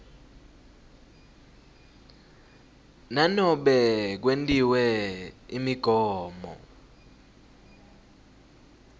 nanobe kwentiwe imigomo